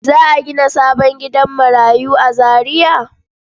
Za a gina sabon gidan marayu a Zariya?